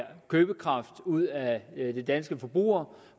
købekraft ud af de danske forbrugere